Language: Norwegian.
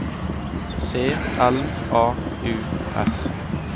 C L A U S